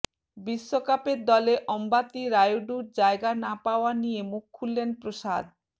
বিশ্বকাপের দলে অম্বাতি রায়ুডুর জায়গা না পাওয়া নিয়ে মুখ খুললেন প্রসাদ